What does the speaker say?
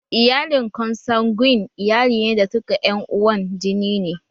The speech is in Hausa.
Iyalin konsanguin iyali ne da duka ƴan uwan jini ne